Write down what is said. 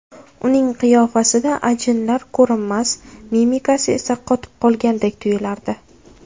Uning qiyofasida ajinlar ko‘rinmas, mimikasi esa qotib qolgandek tuyilardi.